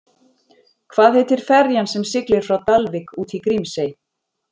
Hvað heitir ferjan sem siglir frá Dalvík út í Grímsey?